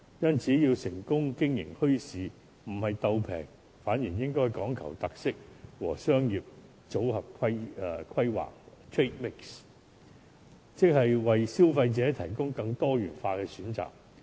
因此，要成功經營墟市，不是"鬥平"，反而應該講求特色和商業組合規劃，即是為消費者提供更多元化的選擇。